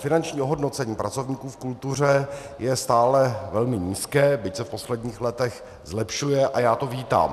Finanční ohodnocení pracovníků v kultuře je stále velmi nízké, byť se v posledních letech zlepšuje a já to vítám.